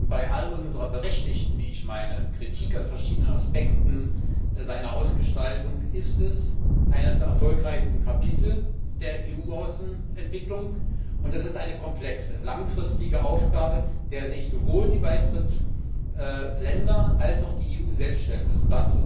Bei all unserer berechtigten Kritik an verschiedenen Aspekten seiner Ausgestaltung ist es eines der erfolgreichsten Kapitel der EU Außenentwicklung, und es ist eine komplexe, langfristige Aufgabe, der sich sowohl die Beitrittsländer als auch die EU selbst stellen müssen.